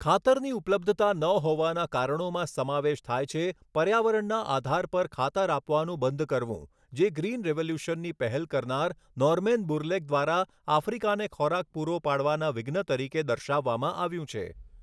ખાતરની ઉપલબ્ધતા ના હોવાના કારણોમાં સમાવેશ થાય છે પર્યાવરણના આધાર પર ખાતર આપવાનું બંધ કરવું જે ગ્રિન રિવોલ્યુશનની પહેલ કરનાર નોરમેન બુરલેગ દ્વારા આફ્રિકાને ખોરાક પૂરો પાડવાના વિઘ્ન તરીકે દર્શાવવામાં આવ્યું છે.